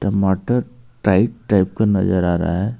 टमाटर type type का नजर आ रहा है.